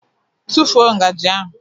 Tụfuo ngaji ahụ!